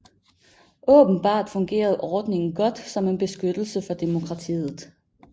Åbenbart fungerede ordningen godt som en beskyttelse for demokratiet